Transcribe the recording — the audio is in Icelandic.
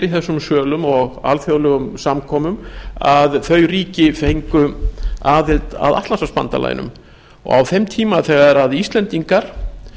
í þessum sölum og á alþjóðlegum samkomum að þau ríki fengju aðild að atlantshafsbandalaginu á þeim tíma þegar íslendingar